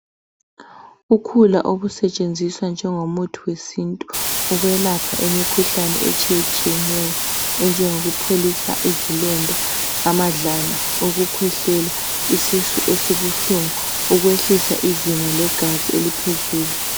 Ukhula okusetshenziswa njengomuthi wesintu ukwelapha imikhuhlane etshiyeneyo enjengokupholisa izilonda, amadlala, ukukhwehlela, isisu esibuhlungu, ukwehlisa izinga legazi eliphezulu.